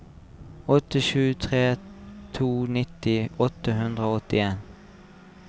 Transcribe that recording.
åtte sju tre to nitti åtte hundre og åttien